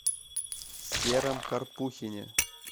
сером карпухине